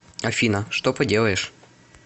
афина что поделаешь